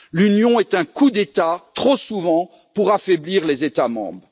L'Union est un coup d'État, trop souvent, pour affaiblir les États membres.